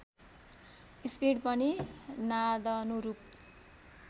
speed पनि नादनुरूप